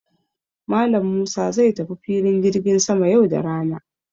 Malam Musa zai tafi filin jirgin sama yau da rana.